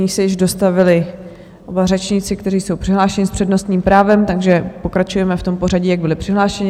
Nyní se již dostavili oba řečníci, kteří jsou přihlášeni s přednostním právem, takže pokračujeme v tom pořadí, jak byli přihlášeni.